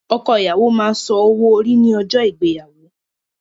Ọkọ ìyàwó máa san owó orí ní ọjọ́ ìgbéyàwó.